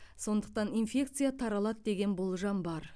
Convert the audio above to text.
сондықтан инфекция таралады деген болжам бар